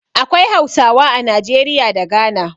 Akwai Hausawa a Najeriya da Ghana.